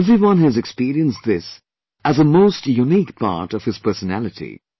Everyone has experienced this as a most unique part of his personality